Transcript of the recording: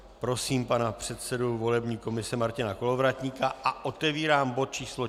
Prosím pana předsedu volební komise Martina Kolovratníka a otevírám bod číslo